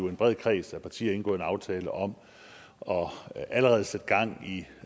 en bred kreds af partier indgået en aftale om allerede at sætte gang i